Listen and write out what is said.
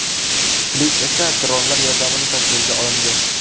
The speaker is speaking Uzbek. Klip esa dronlar yordamida tasvirga olindi.